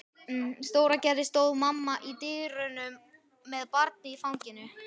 Stóragerði stóð mamma í dyrunum með barnið í fanginu.